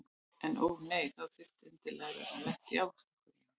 En ó nei, þá þurfti ég endilega að vera lent í ávaxtakörfunni.